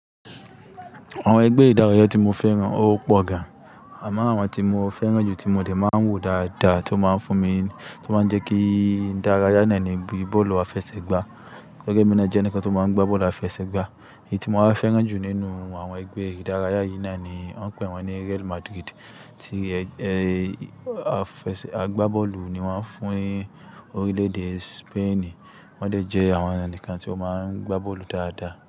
Àwọn ẹgbẹ́ ìdárayá tí mo fẹ́ràn ó pọ̀ gan. Àmáà àwọn tí mo fẹ́ràn jù tí mo dè máa ń wò dáadáa tó máa ń fún mi, tó máa ń jẹ́ kí n dárayá náà ní bíi bọ́ọ̀lù àfẹsẹ̀gbá. Tori ẹ́mi na jẹni kan tó máa ń gbá bọ́ọ̀lù àfẹsẹ̀gbá. Èyí tí mo wáa fẹ́ràn jù nínú àwọn ẹgbẹ́ ìdárayá yìí náà ni wọ́n ń pè wọ́n ní Real Madrid tí ẹ-ẹ àfẹsẹ̀ agbá bọ́ọ̀lù ni wọ́n fún orílẹ̀-èdè Spain. Wọ́n dè jẹ́ àwọn ẹni kan tí ó máa ń gbá bọ́ọ̀lù dáadáa.